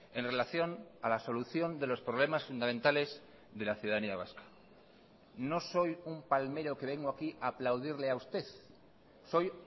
en relación a la solución de los problemas fundamentales de la ciudadanía vasca no soy un palmero que vengo aquí a aplaudirle a usted soy